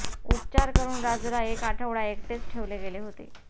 उपचार करून राजूला एक आठवडा एकटेच ठेवले गेले होते